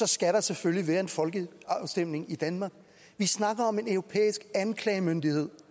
skal der selvfølgelig være en folkeafstemning i danmark vi snakker om en europæisk anklagemyndighed